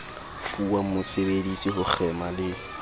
fuwang mosebedisi ho kgema le